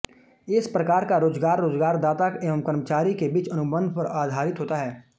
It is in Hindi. इस प्रकार का रोजगार रोजगारदाता एवं कर्मचारी के बीच अनुबंध पर आधरित होता है